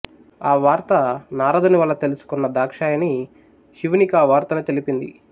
ఆ వార్త నారదునివల్ల తెలుసుకొన్న దాక్షాయణి శివునికా వార్తను తెలిపింది